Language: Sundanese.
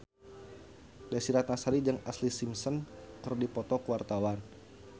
Desy Ratnasari jeung Ashlee Simpson keur dipoto ku wartawan